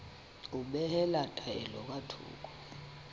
ho behela taelo ka thoko